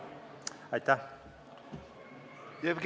Aitäh!